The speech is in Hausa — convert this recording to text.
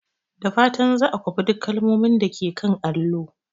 Da fatan za a kwafi duk kalmomin da ke kan allo.